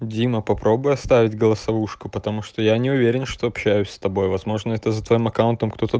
дима попробуй оставить голосовушку потому что я не уверен что общаюсь с тобой возможно это за твоим аккаунтом кто-то